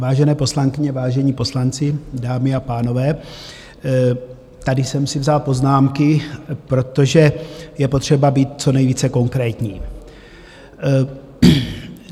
Vážené poslankyně, vážení poslanci, dámy a pánové, tady jsem si vzal poznámky, protože je potřeba být co nejvíce konkrétní.